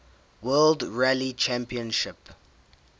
world rally championship